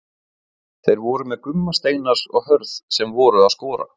Þeir voru með Gumma Steinars og Hörð sem voru að skora.